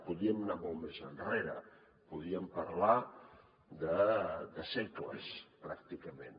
podríem anar molt més enrere podríem parlar de segles pràcticament